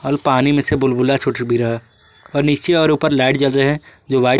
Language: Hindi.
और पानी में से बुलबुला छूट भी रहा है और नीचे और ऊपर लाइट जल रहे हैं जो वाइट ।